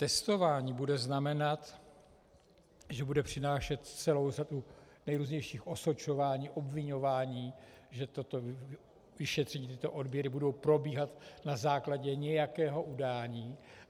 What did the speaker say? Testování bude znamenat, že bude přinášet celou řadu nejrůznějších osočování, obviňování, že toto vyšetření, tyto odběry budou probíhat na základě nějakého udání.